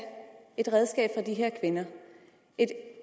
et redskab fra de her kvinder et